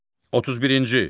31-ci.